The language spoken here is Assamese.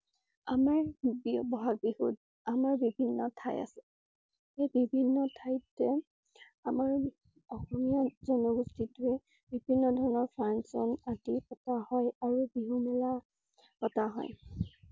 আমাৰ বি~বহাগ বিহুত আমাৰ বিভিন্ন ঠাই আছে। সেই বিভিন্ন ঠাইতে আমাৰ অসমীয়া জনগোষ্ঠী টোৱে বিভিন্ন ধৰণৰ function আদি পতা হয় আৰু বিহু মেলা পতা হয়।